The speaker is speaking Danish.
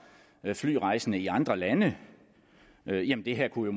flyrejsende i andre lande jamen det her kunne